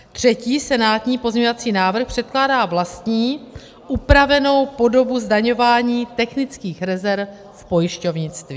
Třetí senátní pozměňovací návrh předkládá vlastní upravenou podobu zdaňování technických rezerv v pojišťovnictví.